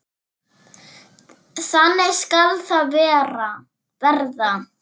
Þannig skal það verða.